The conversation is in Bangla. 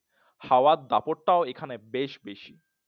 হাওয়ার দাপট টা ও এখানে বেশ বেশি